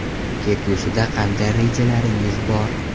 Kelgusida qanday rejalaringiz bor?